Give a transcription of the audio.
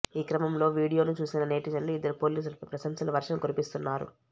ఈ క్రమంలో వీడియోను చూసిన నెటిజన్లు ఇద్దరు పోలీసులపై ప్రశంసల వర్షం కురిపిస్తున్నారు